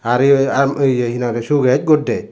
are yo i ahm oye hina hoide suges guddes